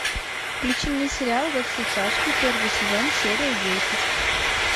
включи мне сериал во все тяжкие первый сезон серия десять